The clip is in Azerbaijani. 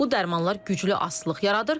Bu dərmanlar güclü asılılıq yaradır.